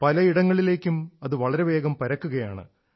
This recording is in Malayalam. പല ഇടങ്ങളിലേക്കും അത് വളരെവേഗം പരക്കുകയാണ്